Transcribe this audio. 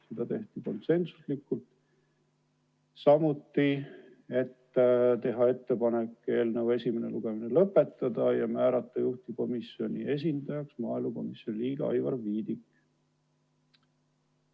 Seda tehti konsensusega, nagu ka ettepanek eelnõu esimene lugemine lõpetada ja määrata juhtivkomisjoni esindajaks maaelukomisjoni liige Aivar Viidik.